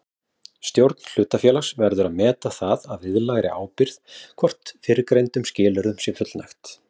Stjórn hlutafélags verður að meta það að viðlagðri ábyrgð hvort fyrrgreindum skilyrðum sé fullnægt.